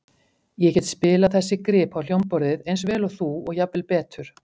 Ég get spilað þessi grip á hljómborðið eins vel og þú og jafnvel betur.